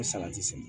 salati sɛnɛ